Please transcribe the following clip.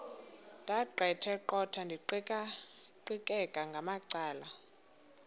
ndaqetheqotha ndiqikaqikeka ngamacala